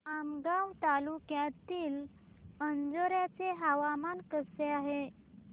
आमगाव तालुक्यातील अंजोर्याचे हवामान कसे आहे